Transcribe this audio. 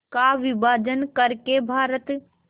का विभाजन कर के भारत